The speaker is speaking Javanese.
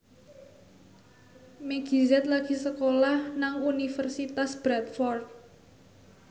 Meggie Z lagi sekolah nang Universitas Bradford